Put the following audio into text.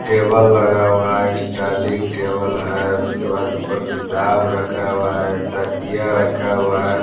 Table लगा हुआ है स्टाइलिंग टेबल है उसके बाद ऊपर किताब रखा हुआ है तकिया रखा हुआ है।